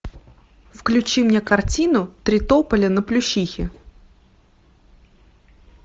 включи мне картину три тополя на плющихе